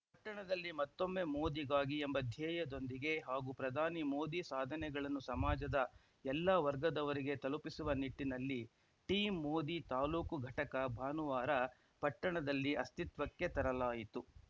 ಪಟ್ಟಣದಲ್ಲಿ ಮತ್ತೊಮ್ಮೆ ಮೋದಿಗಾಗಿ ಎಂಬ ಧ್ಯೇಯದೊಂದಿಗೆ ಹಾಗೂ ಪ್ರಧಾನಿ ಮೋದಿ ಸಾಧನೆಗಳನ್ನು ಸಮಾಜದ ಎಲ್ಲ ವರ್ಗದವರಿಗೆ ತಲುಪಿಸುವ ನಿಟ್ಟಿನಲ್ಲಿ ಟೀಮ್‌ ಮೋದಿ ತಾಲೂಕು ಘಟಕ ಭಾನುವಾರ ಪಟ್ಟಣದಲ್ಲಿ ಅಸ್ತಿತ್ವಕ್ಕೆ ತರಲಾಯಿತು